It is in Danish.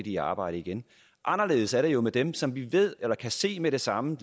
i arbejde igen anderledes er det jo med dem som vi kan se med det samme